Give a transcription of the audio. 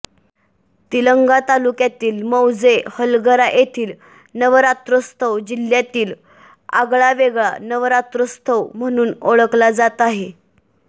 निलंगा तालुक्यातील मौजे हलगरा येथील नवरात्रोत्सव जिल्ह्यातील आगळा वेगळा नवरात्रोत्सव म्हणून ओळखला जात आहे